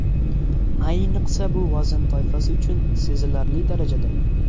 Ayniqsa bu vazn toifasi uchun sezilarli darajada.